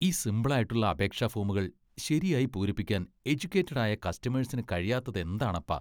ഈ സിംപിൾ ആയിട്ടുള്ള അപേക്ഷാ ഫോമുകൾ ശരിയായി പൂരിപ്പിക്കാൻ എജുക്കേറ്റഡ് ആയ കസ്റ്റേഴ്സിനു കഴിയാത്തതെന്താണപ്പാ!